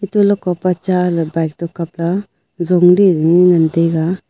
hantoley kopa cha ley bike to kab la jong ley ngan tega.